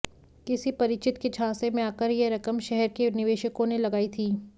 किसी परिचित के झांसे में आकर यह रकम शहर के निवेशकों ने लगाई थी